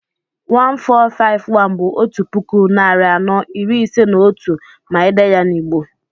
1451 bú 'otu puku, narị anọ, iri ise na otú' ma èdèe ya n'Igbo